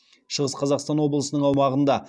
шығыс қазақстан облысының аумағында